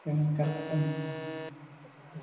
ഏർ correct ആണ്